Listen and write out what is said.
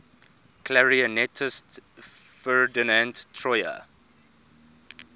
clarinetist ferdinand troyer